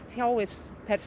þjáist per